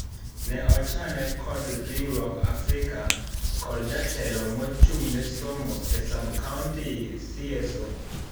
Ne ochane kod riwruok Africa kod jatelo mochung nesomo e sub county CSO.